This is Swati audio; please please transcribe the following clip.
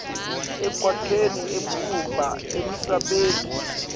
ekwakheni ematfuba emisebenti